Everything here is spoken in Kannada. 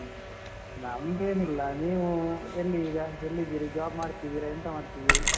ನಮ್ದು ಏನಿಲ್ಲ, ನೀವು ಎಲ್ಲಿ ಈಗ ಎಲ್ಲಿದ್ದೀರಿ job ಮಾಡ್ತಿದ್ದೀರಾ? ಎಂತ ಮಾಡ್ತಿದ್ದೀರಿ?